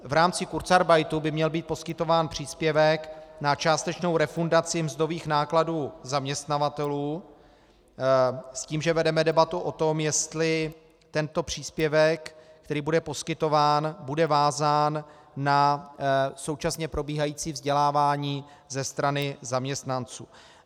V rámci kurzarbeitu by měl být poskytován příspěvek na částečnou refundaci mzdových nákladů zaměstnavatelů s tím, že vedeme debatu o tom, jestli tento příspěvek, který bude poskytován, bude vázán na současně probíhající vzdělávání ze strany zaměstnanců.